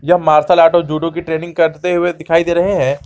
यह martial art और judo की ट्रेनिंग करते हुए दिखाई दे रहे हैं।